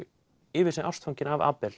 yfir sig ástfangin af